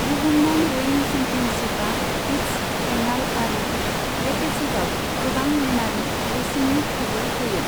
बुहुमनां रयिं चेम्पियनशिपा हीट्स, फाइनाल आरो रेपेचेजाव गोबां लेनारि रेसिंनि खाबु होयो।